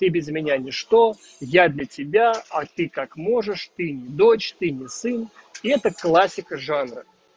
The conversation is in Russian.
ты без меня не что я для тебя а ты как можешь ты не дочь ты не сын это классика жанра